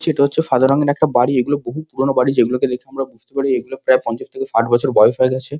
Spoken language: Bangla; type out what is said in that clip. এটা হচ্ছে সাদা রঙের একটা বাড়ি এগুলো বহু পুরোনো বাড়ি। যেগুলোকে দেখে আমরা বুঝতে পারি এগুলোর প্রায় পঞ্চাশ থেকে ষাট বছর বয়স হয়ে গেছে।